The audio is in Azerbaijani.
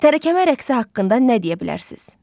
Tərəkəmə rəqsi haqqında nə deyə bilərsiz?